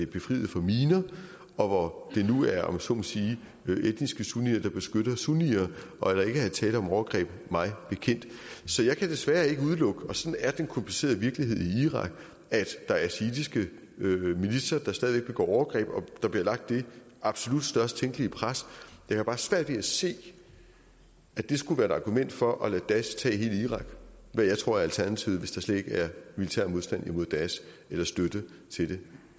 befriet for miner og hvor det nu er om jeg så må sige etniske sunnier der beskytter sunnier og der er ikke tale om overgreb mig bekendt så jeg kan desværre ikke udelukke og sådan er den komplicerede virkelighed i irak at der er shiitiske militser der stadig væk begår overgreb der bliver lagt det absolut størst tænkelige pres jeg har bare svært ved at se at det skulle være et argument for at lade daesh tage hele irak hvad jeg tror er alternativet hvis der slet ikke er militær modstand mod daesh eller støtte til det